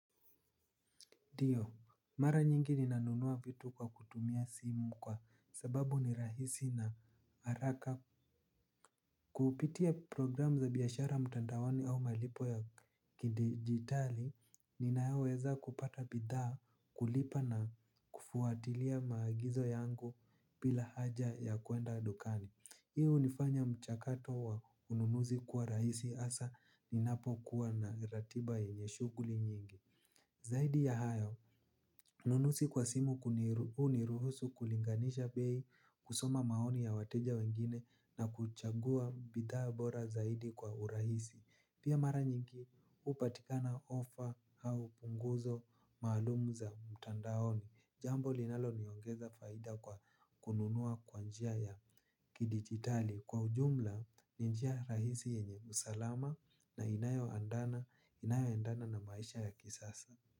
Dio, mara nyingi ninanunua vitu kwa kutumia simu kwa sababu ni rahisi na haraka. Kupitia programu za biyashara mtandaoni au malipo ya kidigitali ninaweza kupata bidhaa kulipa na kufuatilia maagizo yangu bila haja ya kuenda adukani. Hii unifanya mchakato wa ununuzi kuwa rahisi asa ninapo kuwa na ratiba yenye shuguli nyingi. Zaidi ya hayo, ununusi kwa simu uniruhusu kulinganisha bei kusoma maoni ya wateja wengine na kuchagua bidhaa bora zaidi kwa urahisi. Pia mara nyingi hupatikana offer au punguzo maalumu za mtandaoni. Jambo linalo niongeza faida kwa kununua kwa njia ya kidigitali. Kwa ujumla, ni njia rahisi yenye usalama na inayo endana na maisha ya kisasa.